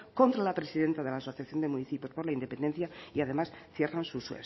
contra la presidenta de la asociación de municipios por la independencia y además cierran sus